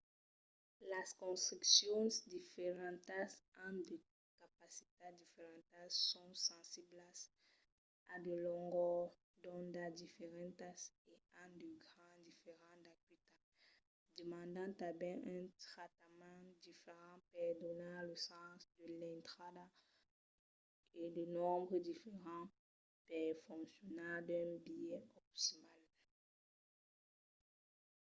las construccions diferentas an de capacitats diferentas son sensiblas a de longors d'onda diferentas e an de gras diferents d'acuitat demandan tanben un tractament diferent per donar de sens a l'intrada e de nombres diferents per foncionar d'un biais optimal